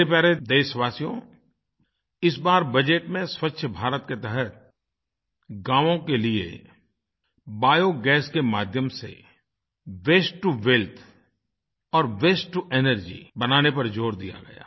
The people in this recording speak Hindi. मेरे प्यारे देशवासियो इस बार बजट में स्वच्छ भारत के तहत गाँवों के लिए बायोगैस के माध्यम से वास्ते टो वेल्थ और वास्ते टो एनर्जी बनाने पर ज़ोर दिया गया